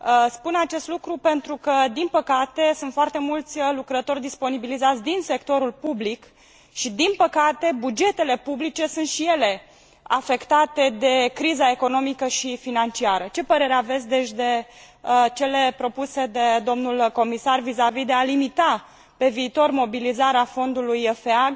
Spun acest lucru pentru că, din păcate, sunt foarte mulți lucrători disponibilizați din sectorul public și, din păcate, bugetele publice sunt și ele afectate de criza economică și financiară. Ce părere aveți, deci, de cele propuse de domnul Comisar vizavi de a limita pe viitor mobilizarea Fondului FEG